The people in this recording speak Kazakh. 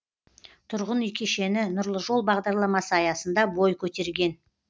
тұрғын үй кешені нұрлы жол бағдарламасы аясында бой көтерген